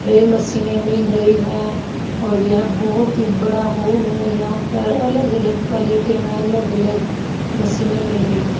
ये मशीनें मिल रहीं हैं और ये बोहोत हि बड़ा हॉल है यहां पर अलग अलग क्वालिटी में अलग अलग मशीनें मिल रही हैं।